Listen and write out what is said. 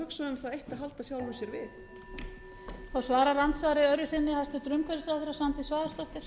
sem hugsa um það eitt að halda sjálfu sér við